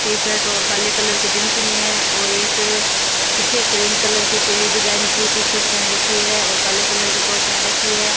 T-shirt और काले colour की जींस में है और एक फीके क्रीम कलर की पीली डिजाइन की टी-शर्ट पहन रखी है और काले कलर की टॉप पहन रखी है।